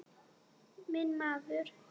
Minn maður.